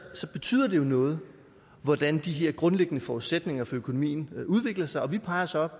så betyder det jo noget hvordan de her grundlæggende forudsætninger for økonomien udvikler sig og vi peger så